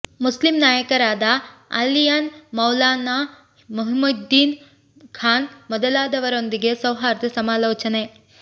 Muslim ನಾಯಕರಾದ ಆಲಿಯಾನ್ ಮೌಲಾನಾ ಮಹಿದುದ್ದೀನ್ ಖಾನ್ ಮೊದಲಾದವರೊಂದಿಗೆ ಸೌಹಾರ್ದ ಸಮಾಲೋಚನೆ